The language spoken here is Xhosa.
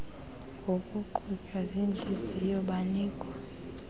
ngokuqhutywa ziintliziyo banikwa